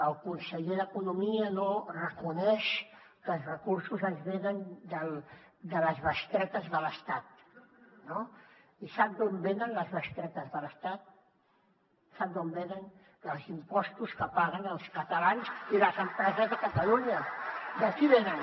el conseller d’economia no reconeix que els recursos ens venen de les bestretes de l’estat no i sap d’on venen les bestretes de l’estat sap d’on venen dels impostos que paguen els catalans i les empreses de catalunya d’aquí venen